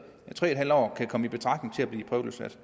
tre en halv år kan komme betragtning til at blive prøveløsladt